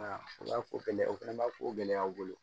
O b'a ko gɛlɛya o fɛnɛ b'a ko gɛlɛya bolo